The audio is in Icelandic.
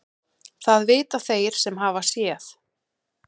Það vita þeir sem hafa séð.